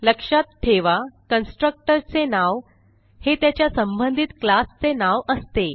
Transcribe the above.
लक्षात ठेवा कन्स्ट्रक्टर चे नाव हे त्याच्या संबंधित क्लास चे नाव असते